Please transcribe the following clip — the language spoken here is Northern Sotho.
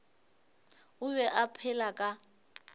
o be a phela ka